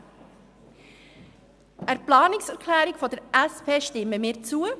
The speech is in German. Der Planungserklärung der SP-JUSO-PSA-Fraktion stimmen wir zu.